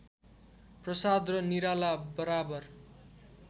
प्रसाद र निराला बराबर